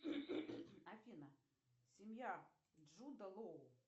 афина семья джуда лоу